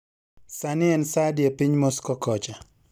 Sani en saa adi epiny Moscow kocha